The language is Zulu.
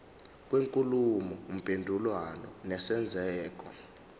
kwenkulumo mpendulwano nesenzeko